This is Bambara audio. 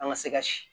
An ka se ka si